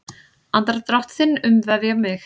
Andardrátt þinn umvefja mig.